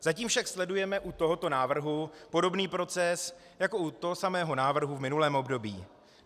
Zatím však sledujeme u tohoto návrhu podobný proces jako u toho samého návrhu v minulém období.